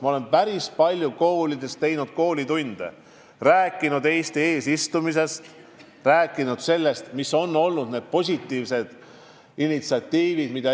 Ma olen päris palju koolides tunde andnud, rääkinud Eesti eesistumisest, rääkinud sellest, mis on olnud meie positiivsed initsiatiivid.